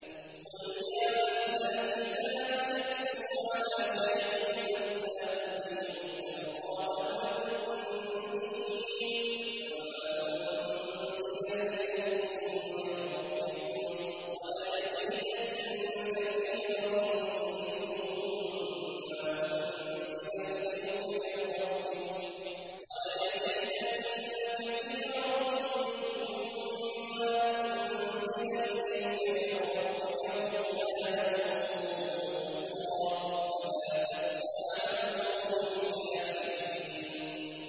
قُلْ يَا أَهْلَ الْكِتَابِ لَسْتُمْ عَلَىٰ شَيْءٍ حَتَّىٰ تُقِيمُوا التَّوْرَاةَ وَالْإِنجِيلَ وَمَا أُنزِلَ إِلَيْكُم مِّن رَّبِّكُمْ ۗ وَلَيَزِيدَنَّ كَثِيرًا مِّنْهُم مَّا أُنزِلَ إِلَيْكَ مِن رَّبِّكَ طُغْيَانًا وَكُفْرًا ۖ فَلَا تَأْسَ عَلَى الْقَوْمِ الْكَافِرِينَ